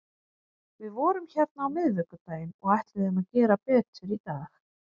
Við vorum hérna á miðvikudaginn og ætluðum að gera betur í dag.